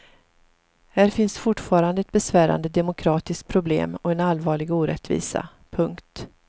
Här finns fortfarande ett besvärande demokratiskt problem och en allvarlig orättvisa. punkt